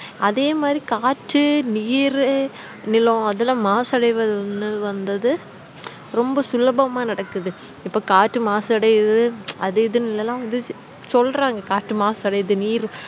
அதே மாறி காற்று நீறு நிலம் அதெலாம் மாசு அடையவந்ததுரொம்ப சுலபமா நடக்குது இப்போ காற்றுமாசுஅடையுது அது இதளாம் சொல்ல்ரங்க காற்று மாசு அடையுதுன்னு நீறு